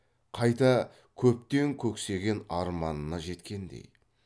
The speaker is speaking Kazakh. қайта көптен көксеген арманына жеткендей